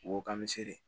Ko k'an bɛ se de